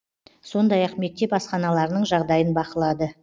сондай ақ мектеп асханаларының жағдайын бақылады